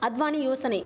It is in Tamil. அத்வானி யோசனை